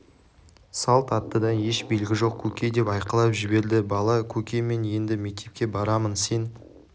салт аттыдан еш белгі жоқ көке деп айқайлап жіберді бала көке мен енді мектепке барамын сен